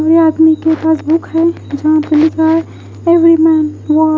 वे आदमी के पास बुक है जहाँ पे लिखा है फ़ेवरेट मेन वा--